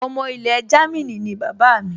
Ọmọ ilẹ̀ Jámínì ni bàbá mi